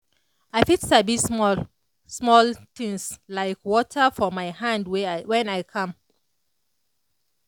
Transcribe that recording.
i fit sabi small-small sweet things like water for my hand when i calm.